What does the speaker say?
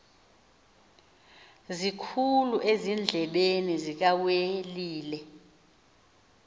sikhulu ezindlebeni zikawelile